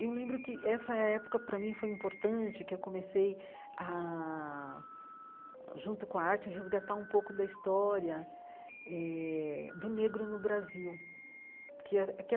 Eu lembro que essa época, para mim, foi importante, que eu comecei ah, junto com a arte, a resgatar um pouco da história eh do negro no Brasil. Qua a que a